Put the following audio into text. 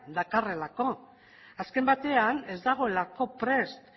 dakarrelako azken batean ez dagoelako prest